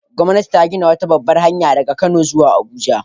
Gwamnati ta gina wata babbar hanya daga Kano zuwa Abuja